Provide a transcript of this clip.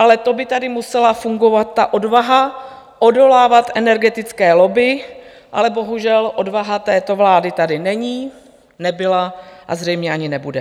Ale to by tady musela fungovat ta odvaha odolávat energetické lobby, ale bohužel odvaha této vlády tady není, nebyla a zřejmě ani nebude.